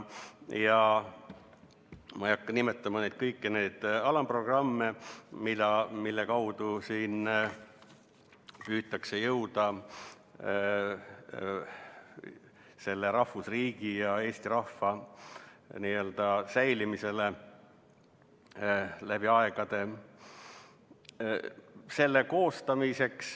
Ma ei hakka nimetama kõiki alamprogramme, mille kaudu püütakse jõuda rahvusriigi ja Eesti rahva säilimiseni läbi aegade.